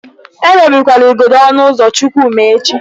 Emebikwala igodo ọnụ ụzọ Chukwuma echi.